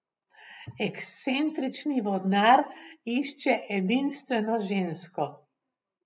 Ekscentrični vodnar išče edinstveno žensko.